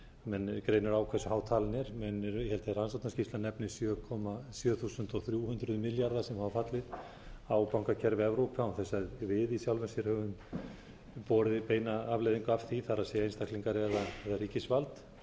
menn greinir á hversu há talan er en ég held að rannsóknarskýrslan nefnir sjö þúsund þrjú hundruð milljarða sem hafa fallið á bankakerfi evrópu án þess að við í sjálfu sér höfum borið beina afleiðingu af því það er einstaklingar eða ríkisvald